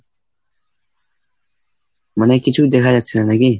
মানে কিছুই দেখা যাচ্ছে না নাকি?